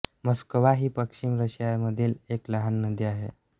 Moskva ही पश्चिम रशियामधील एक लहान नदी आहे